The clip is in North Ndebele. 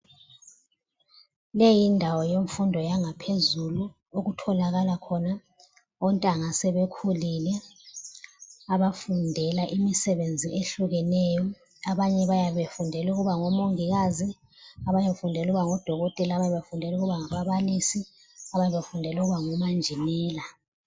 Leyindawo yemfundo yangaphezulu okutholakala khona ontanga asebekhulile abafundela imisebenzi ehlukeneyo. Abanye bayabe befundela ukuba ngomongikazi ,abanye befundela ukuba ngoDokotela ,abanye befundela ukuba ngababalisi ,abanye bafundela ukuba ngomanjinela.